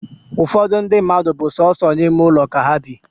Ụfọdụ ndi mmadụ bu sọsọ ime ụlọ ka ha bị